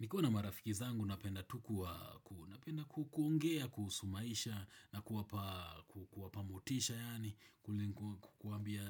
Nikiwa na marafiki zangu napenda tu kuongea kuhusu maisha na kuwapa mutisha yani kuambia